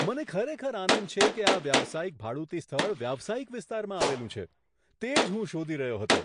મને ખરેખર આનંદ છે કે આ વ્યવસાયિક ભાડુતી સ્થળ વ્યવસાયિક વિસ્તારમાં આવેલું છે. તે જ હું શોધી રહ્યો હતો.